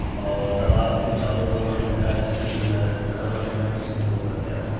और तालाब के चारों ओर लगता है जैसे कुछ घर बने हुए हैं जिसमें लोग रहते हो।